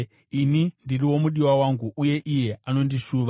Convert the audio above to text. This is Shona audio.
Ini ndiri womudiwa wangu, uye iye anondishuva.